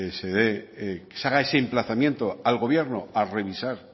se dé que se haga ese emplazamiento al gobierno a revisar